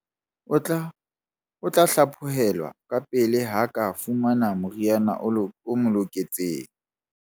O tla hlaphohelwa kapele ha a ka fumana moriana o loketseng.